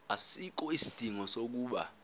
asikho isidingo sokuba